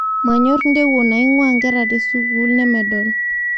Manyor ntewuo naingwaa nkera tesukul nemedol